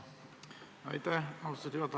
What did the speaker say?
Aitäh, austatud juhataja!